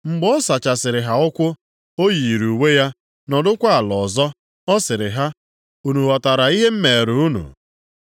Mgbe ọ sachasịrị ha ụkwụ, o yiiri uwe ya, nọdụkwa ala ọzọ, ọ sịrị ha, “Unu ghọtara ihe m meere unu?